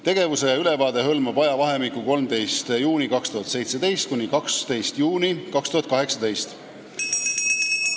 Tegevuse ülevaade hõlmab ajavahemikku 13. juunist 2017 kuni 12. juunini 2018.